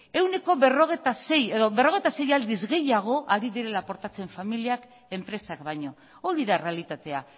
ehuneko berrogeita sei aldiz gehiago ari direla aportatzen familiak enpresak baino hori da errealitatea